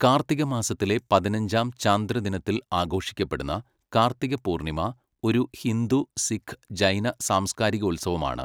കാർത്തികമാസത്തിലെ പതിനഞ്ചാം ചാന്ദ്രദിനത്തിൽ ആഘോഷിക്കപ്പെടുന്ന കാർത്തികപൂർണ്ണിമ ഒരു ഹിന്ദു, സിഖ്, ജൈന സാംസ്കാരികോത്സവമാണ്.